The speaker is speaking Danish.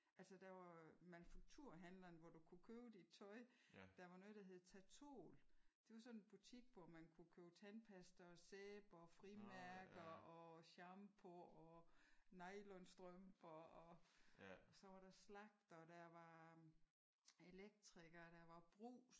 Altså der var jo manufakturhandleren hvor du kunne købe dit tøj. Der var noget der hed Tatol. Det var sådan en butik hvor man kunne købe tandpasta og sæbe og frimærker og shampoo og nylonstrømper og så var der slagter. Der var elektriker. Der var brugs